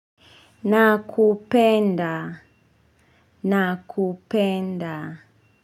Nakupenda nakupenda.